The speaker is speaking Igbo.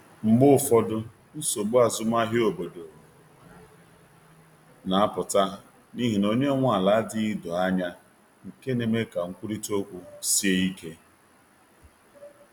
Mgbe ụfọdụ, nsogbu azụmahịa obodo na-apụta n’ihi na onye nwe ala adịghị doo anya, nke na-eme ka nkwurịta okwu sie ike.